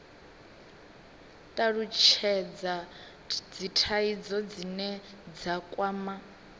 talutshhedza dzithaidzo dzine dza kwama